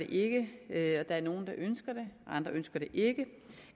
det ikke der er nogle der ønsker det og andre ønsker det ikke